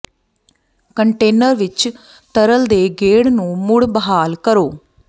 container ਵਿੱਚ ਤਰਲ ਦੇ ਗੇੜ ਨੂੰ ਮੁੜ ਬਹਾਲ ਕਰੋ